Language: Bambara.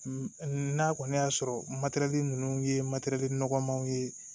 N'a kɔni y'a sɔrɔ ninnu ye nɔgɔmanw ye